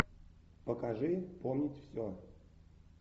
покажи помнить все